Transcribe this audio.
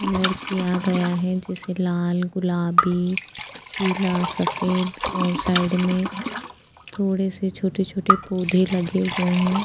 Colour किया गया है जैसे लाल गुलाबी पीला सफेद और साइड में थोड़े से छोटे-छोटे पौधे लगे हुए हैं।